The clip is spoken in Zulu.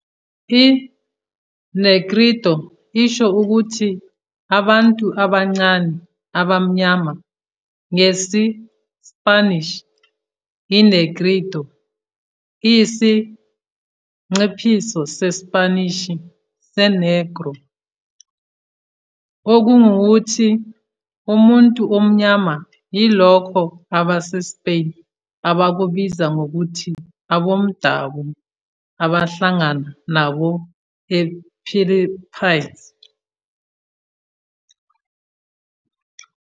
I-Negrito isho ukuthi "abantu abancane abamnyama" ngesi-Spanish, i-negrito iyisinciphiso seSpanishi se-negro, okungukuthi, "umuntu omnyama", yilokho abaseSpain abakubiza ngokuthi aboMdabu abahlangana nabo ePhilippines.